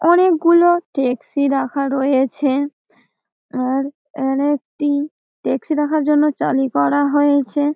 অনেক গুলো টেক্সি রাখা রয়েছে। আর আর একটি টেক্সি রাখার জন্য চালি করা হয়েছে।